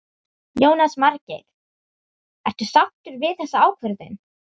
Jónas Margeir: Ertu sáttur við þessa ákvörðun?